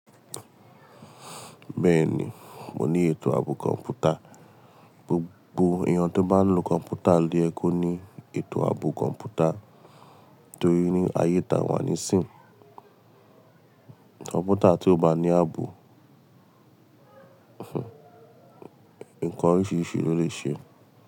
Bẹ́ẹ̀ni, mo ní ètò ààbò kọ̀m̀pútà. Gbogbo ènìyàn tó bá ń lo kọ̀m̀pútà lo ye kó ní ètò ààbò kọ̀m̀pútà torí ní ayé ta wà ní sìn. Kọ̀m̀pútà tí ó bá ní ààbò, ǹkan oríṣiríṣi ló lè ṣe.